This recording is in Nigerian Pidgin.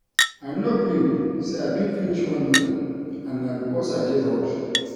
I no believe say I fit finish one novel and na because I dey road